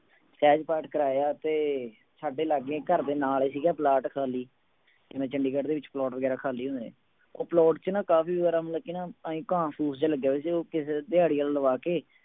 ਸਹਿਜ ਪਾਠ ਕਰਵਾਇਆ ਤੇ ਸਾਡੇ ਲਾਗੇ ਘਰਦੇ ਨਾਲ ਸੀਗਾ ਪਲਾਟ ਖਾਲੀ ਜਿਵੇਂ ਚੰਡੀਗੜ੍ਹ ਦੇ ਵਿੱਚ ਪਲਾਟ ਵਗ਼ੈਰਾ ਖਾਲੀ ਹੁੰਦੇ, ਉਹ ਪਲਾਟ ਚ ਨਾ ਕਾਫ਼ੀ ਸਾਰਾ ਮਤਲਬ ਕਿ ਇਉਂ ਹੀ ਘਾਹ ਫੂਸ ਜਿਹਾ ਲੱਗਿਆ ਹੋਇਆ ਸੀ ਉਹ ਕਿਸੇ ਨੇ ਦਹਾੜੀਆ ਲਵਾ ਕੇ